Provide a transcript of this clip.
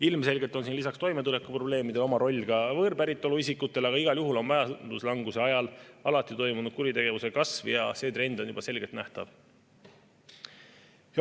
Ilmselgelt on siin lisaks toimetulekuprobleemidele oma roll ka võõrpäritolu isikutel, aga igal juhul on majanduslanguse ajal alati toimunud kuritegevuse kasv ja see trend on juba selgelt nähtav.